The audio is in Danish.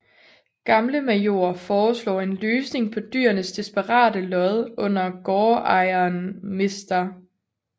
Gamle Major foreslår en løsning på dyrenes desperate lod under gårdejeren mr